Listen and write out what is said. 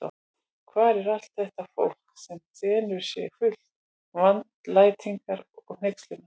Og hvar er allt þetta fólk, sem þenur sig fullt vandlætingar og hneykslunar?